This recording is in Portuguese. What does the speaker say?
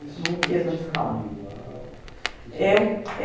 Eu não quis mais ficar lá. Eu